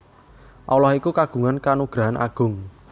Allah iku kagungan kanugrahan Agung